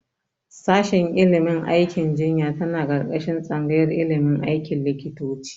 Shashin ilimin aikin jinya tana ƙarƙashin tsangayar ilimin aikin likitoci.